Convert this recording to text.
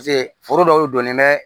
Paseke foro dɔw donnen bɛ